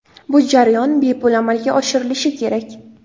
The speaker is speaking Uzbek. Bu jarayon bepul amalga oshirilishi kerak.